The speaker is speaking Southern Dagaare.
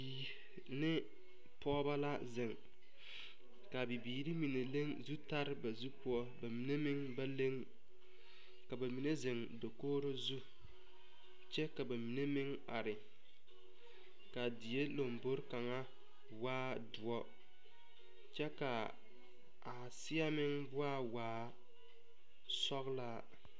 Bibiire ne pɔgɔba la zeŋ. Ka bibiire mene leŋ zutare ba zu poʊ. Ba mene meŋ ba leŋ. Ka ba mene zeŋ dakoore zu. Kyɛ ka ba mene meŋ are. Ka die lombɔre kanga waa duor kyɛ ka a seɛ meŋ waa waa sɔglaa.